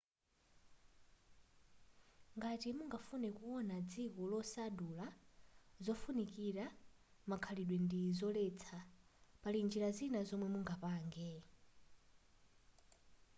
ngati mungafune kuona dziko losadula zofunikira makhalidwe ndi zoletsa pali njira zina zomwe mungapange